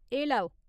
एह् लैओ !